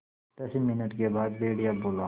दस मिनट के बाद भेड़िया बोला